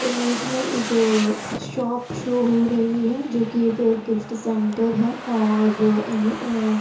image में एक shop show हो रही है जोकि एक गिफ्ट सेंटर है और एम ए--